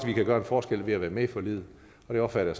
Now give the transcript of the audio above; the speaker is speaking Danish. vi kan gøre en forskel ved at være med i forliget og det opfatter